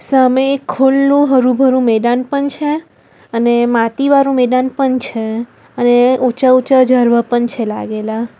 સામે એક ખુલ્લુ હરુ ભરુ મેદાન પણ છે અને માતી વાળુ મેદાન પણ છે અને ઊંચા ઊંચા ઝાડવા પણ છે લાગેલા --